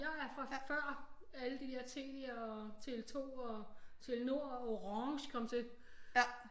Jeg er fra før alle de der Telia og Tele2 og Telenord og Orange kom til